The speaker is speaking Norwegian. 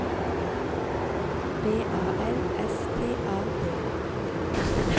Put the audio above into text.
B A L S T A D